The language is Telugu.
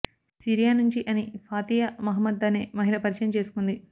సిరియా నుంచి అని ఫాతియా మహమ్మద్ అనే మహిళ పరిచయం చేసుకుంది